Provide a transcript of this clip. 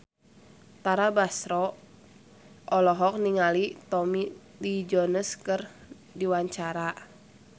Tara Basro olohok ningali Tommy Lee Jones keur diwawancara